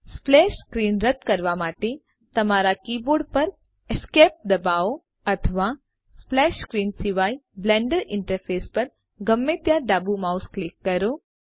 splash screen રદ કરવા માટેતમારા કીબોર્ડ પર ESC દબાવો અથવા સ્પ્લેશ સ્ક્રીન સિવાય બ્લેન્ડર ઈન્ટરફેસ પર ગમે ત્યાં ડાબું માઉસ ક્લિક કરો